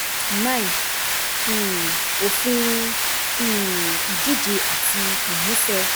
um Òfin um ìdíje àti ìmúṣẹ